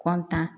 kɔntan